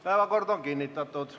Päevakord on kinnitatud.